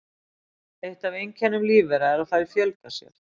Eitt af einkennum lífvera er að þær fjölga sér.